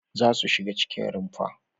Za su shiga cikin rumfa!